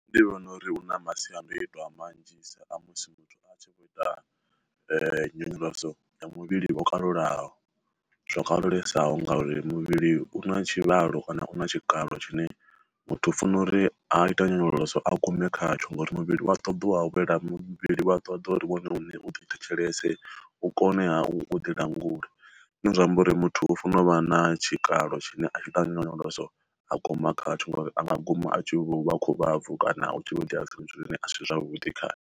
Ndi vhona uri hu na masiandoitwa manzhi sa a musi muthu a tshi vho ita nyonyoloso muvhili wo kalulaho zwo kalulesaho ngauri muvhili u na tshivhalo kana u na tshikalo tshine muthu funa uri a ita nyonyoloso a gume khatsho ngauri muvhili wa ṱoḓiwa awela muvhili vha ṱoḓa uri hone hune u ḓi thetshelese u koneha u ḓi langula, zwine zwa amba uri muthu u fano u vha na tshikalo tshine a tshi ita nyonyoloso a guma khatsho ngori a nga guma a tshi u vha khovha bvu kana u tshi vho itea zwithu zwine asi zwavhuḓi khae.